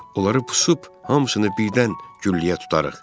Onları pusub, hamısını birdən gülləyə tutarıq.